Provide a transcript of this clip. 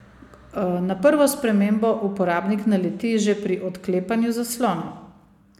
Na prvo spremembo uporabnik naleti že pri odklepanju zaslona.